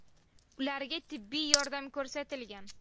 Ularga tibbiy yordam ko‘rsatilgan.